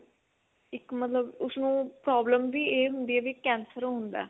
ਇੱਕ ਮਤਲਬ ਉਸਨੂੰ problem ਵੀ ਇਹ ਹੁੰਦੀ ਏ ਵੀ ਕੇਂਸਰ ਹੁੰਦਾ